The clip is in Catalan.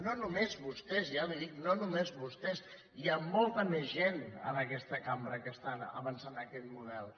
no només vostès ja li ho dic no només vostès hi ha molta més gent en aquesta cambra que estan avançant en aquest model